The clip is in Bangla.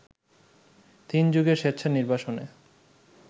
তিন যুগের স্বেচ্ছা নির্বাসনে